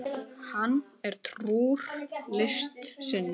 Hann er trúr list sinni.